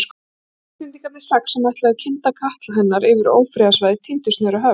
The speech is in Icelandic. Íslendingarnir sex, sem ætluðu að kynda katla hennar yfir ófriðarsvæðið tíndust niður á höfn.